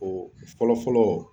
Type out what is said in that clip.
O fɔlɔ fɔlɔ